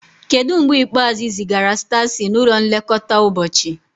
Kedu mgbe ikpeazụ ị zigara Stacy n'ụlọ nlekọta ụbọchị?